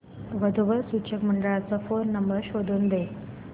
वधू वर सूचक मंडळाचा फोन नंबर शोधून दे